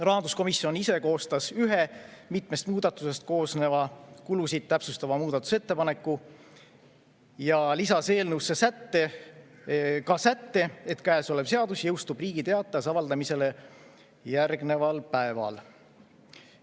Rahanduskomisjon ise koostas ühe mitmest muudatusest koosneva kulusid täpsustava muudatusettepaneku ja lisas eelnõusse sätte, et käesolev seadus jõustub Riigi Teatajas avaldamisele järgneval päeval.